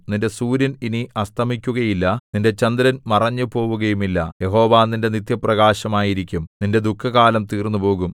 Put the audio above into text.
നിന്റെ സൂര്യൻ ഇനി അസ്തമിക്കുകയില്ല നിന്റെ ചന്ദ്രൻ മറഞ്ഞുപോവുകയുമില്ല യഹോവ നിന്റെ നിത്യപ്രകാശമായിരിക്കും നിന്റെ ദുഃഖകാലം തീർന്നുപോകും